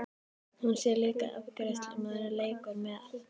Hún sér líka að afgreiðslumaðurinn leikur með.